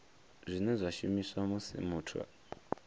zwine zwa shumiswa musi muthu